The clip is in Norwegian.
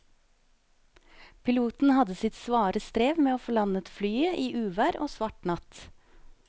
Piloten hadde sitt svare strev med å få landet flyet i uvær og svart natt.